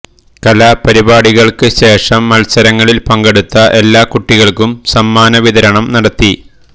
കലാപരിപാടികൾക്ക് ശേഷം മത്സരങ്ങളിൽ പങ്കെടുത്ത എല്ലാ കുട്ടികൾക്കും സമ്മാന വിതരണം നടത്തി